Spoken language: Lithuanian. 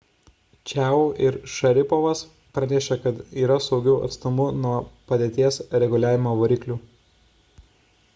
čiao ir šaripovas pranešė kad yra saugiu atstumu nuo padėties reguliavimo variklių